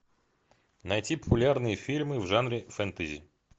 найти популярные фильмы в жанре фэнтези